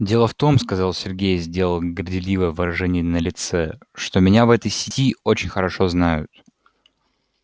дело в том сказал сергей сделал горделивое выражение на лице что меня в этой сети очень хорошо знают